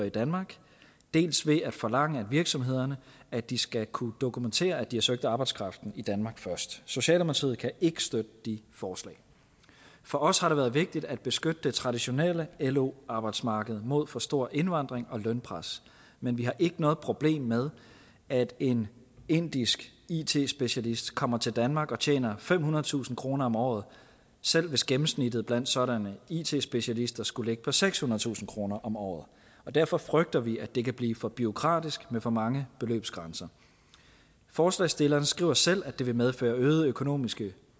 i danmark dels ved at forlange af virksomhederne at de skal kunne dokumentere at de har søgt arbejdskraften i danmark først socialdemokratiet kan ikke støtte de forslag for os har det været vigtigt at beskytte det traditionelle lo arbejdsmarked mod for stor indvandring og lønpres men vi har ikke noget problem med at en indisk it specialist kommer til danmark og tjener femhundredetusind kroner om året selv hvis gennemsnittet blandt sådanne it specialister skulle ligge på sekshundredetusind kroner om året og derfor frygter vi at det kan blive for bureaukratisk med for mange beløbsgrænser forslagsstillerne skriver selv at det vil medføre øgede økonomiske